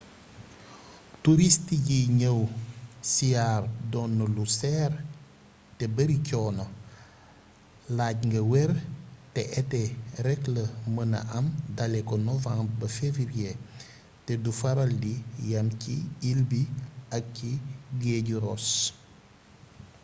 touriste yiy ñëw siyaar doon na lu seer te bari coono laaj nga wér te été rek la mëna am dalee ko novembre ba février te du faral di yam ci ile bi ak ci géeju ross